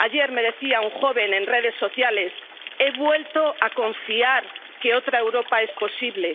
Ayer me decía un joven en redes sociales He vuelto a confiar en que otra Europa es posible.